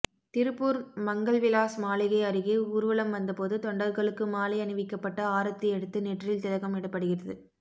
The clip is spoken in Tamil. திருப்பூர் மங்கள் விலாஸ் மாளிகை அருகே ஊர்வலம் வந்தபோது தொண்டர்களுக்கு மாலை அணிவிக்கப்பட்டு ஆரத்தி எடுத்து நெற்றியில் திலகம் இடப்படுகிறது